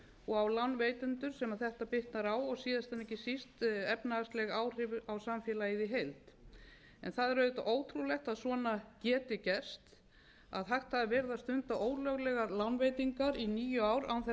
og á lánveitendur sem þetta bitnar á og síðast en ekki síst efnahagsleg áhrif á samfélagið í heild það er auðvitað ótrúlegt að svona geti gerst að hægt hafi verið að stunda ólöglegar lánveitingar í níu ár án þess að